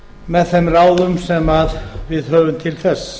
með þeim ráðum sem við höfum til þess